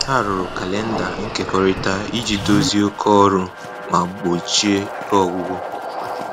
Ha rụrụ kalenda nkekọrịta iji dozie oké ọrụ ma gbochie ike ọgwụgwụ